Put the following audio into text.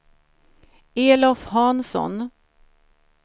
Elof Hansson